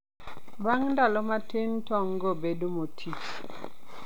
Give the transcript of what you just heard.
Bang' ndalo matin, tong'go bedo moti.